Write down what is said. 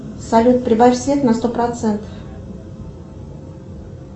салют прибавь свет на сто процентов